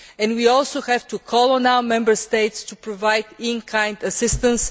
We also have to call on the Member States to provide in kind assistance.